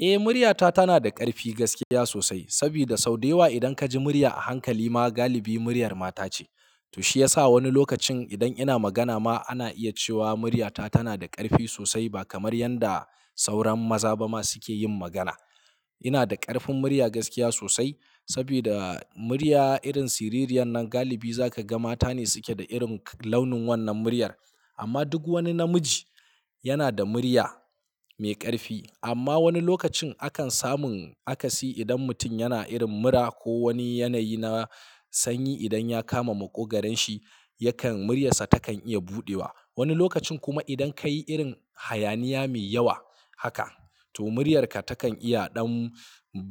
Eh murya ta tana da ƙarfi gaskiya sosai. Saboda sau da yawa idan kaji murya a hankali ma galibi muryar mata ce. To shi yasa wani lokacin idan ina magana ma ana iya cewa muryata tana da ƙarfi sosai ba kamar yanda sauran maza ba ma suke yin magana. Ina da ƙarfin murya gaskiya sosai saboda murya irin siririyan nan galibi zaka ga mata ne suke da irin launin wannan muryar. Amma duk wani namiji yana da murya mai ƙarfi. Amma wani lokacin akan samun akasi idan mutum yana irin mura ko wani yanayi na sanyi idan ya kama maƙogaron shi, yakan muryarsa takan iya buɗewa. Wani lokacin kuma idan ka yi irin hayaniya mai yawa haka to muryarka takan iya ɗan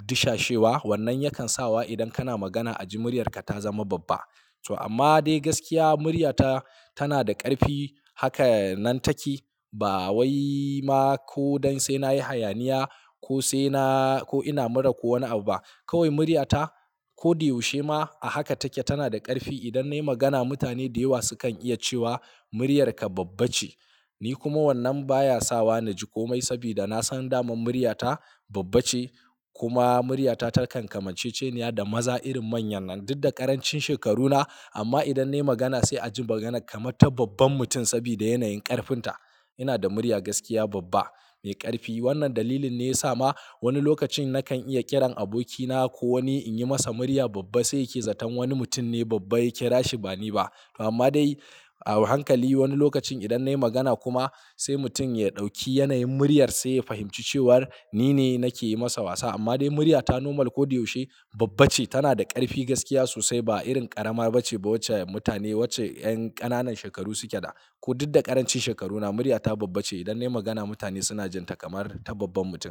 dishashewa. Wannan yakan sawa idan kana magana a ji muryarka ta zama babba. To amma dai gaskiya muryata tana da ƙarfi haka nan take. Ba wai ma ko don sai nayi hayaniya ko sai na ko ina mura ko wani abu ba. Kawai muryata kodayaushe ma a haka take. Tana da ƙarfi. Idan nayi magana mutane da yawa sukan iya cewa muryarka babba ce. Ni kuma wannan baya sawa naji komai saboda nasan daman muryata babba ce. Kuma muryata takan kamanceceniya da maza irin manya nan duk da ƙarancin shekaruna. Amma idan nayi magana sai a ji magana kamar ta babban mutum saboda yanayin ƙarfinta. Ina da murya gaskiya babba mai ƙarfi. Wannan dalilin ne ya sa ma wani lokacin nakan iya ƙiran abokina ko wani in yi masa murya babba sai yake zaton wani mutum ne babba yake rashi ba ni ba. Amma dai a hankali wani lokacin idan nayi magana kuma sai mutum ya ɗauki yanayin muryar sai ya fahimci cewar ni ne nakeyi masa wasa. Amma dai muryata normal kodayaushe babba ce. Tana da ƙarfi gaskiya sosai ba irin ƙarama bace ba wacce mutane wacce ƴan ƙananan shekaru suke da. Ko duk da ƙarancin shekaruna muryata babba ce. Idan nayi magana mutane suna jin ta kamar ta babban mutum.